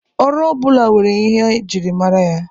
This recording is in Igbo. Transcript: Ọrụ ọbụla nwere ihe e ji mara ya.